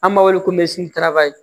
An b'a wele ko